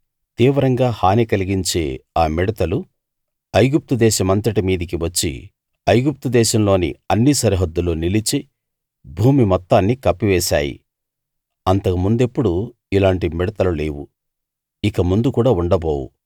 తీవ్రంగా హాని కలిగించే ఆ మిడతలు ఐగుప్తు దేశమంతటి మీదికీ వచ్చి ఐగుప్తు దేశంలోని అన్ని సరిహద్దుల్లో నిలిచి భూమి మొత్తాన్నీ కప్పివేశాయి అంతకు ముందెప్పుడూ ఇలాంటి మిడతలు లేవు ఇకముందు కూడా ఉండబోవు